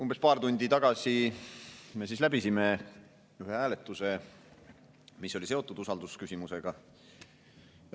Umbes paar tundi tagasi me ühe hääletuse, mis oli seotud usaldusküsimusega.